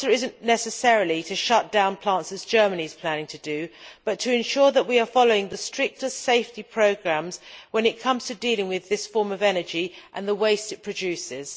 The answer is not necessarily to shut down plants, as Germany is planning to do, but rather to ensure that we are following the strictest safety programmes when it comes to dealing with this form of energy and the waste it produces.